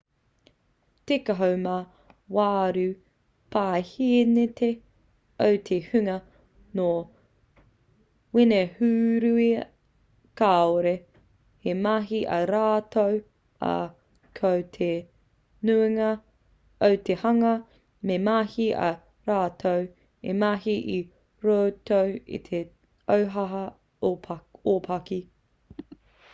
tekau mā waru paehēneti o te hunga nō wenehūera kāore he mahi a rātou ā ko te nuinga o te hunga he mahi ā rātou e mahi i roto i te ohaoha ōpaki